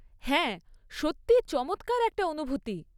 হ্যাঁ, সত্যিই চমৎকার একটা অনুভূতি।